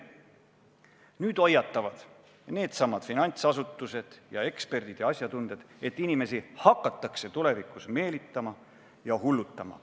Nüüd hoiatavad needsamad finantsasutused, eksperdid ja asjatundjad, et inimesi hakatakse tulevikus meelitama ja hullutama.